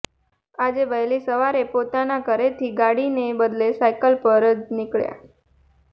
આજે વહેલી સવારે પોતાના ઘરેથી ગાડીને બદલે સાયકલ પર જ નિકળ્યા